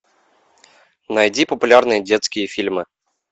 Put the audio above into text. найди популярные детские фильмы